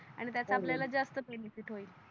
आणि त्याच्या हो हो जास्त सोय थोडी